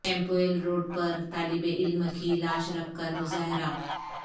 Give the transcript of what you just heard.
کیمپویل road پر طالب علم کی لاش رکھ کر مظاہرہ